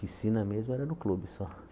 Piscina mesmo era no clube só.